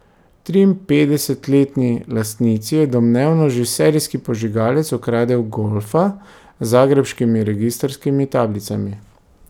Triinpetdesetletni lastnici je domnevno že serijski požigalec ukradel golfa z zagrebškimi registrskimi tablicami.